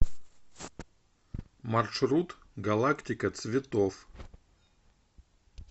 маршрут галактика цветов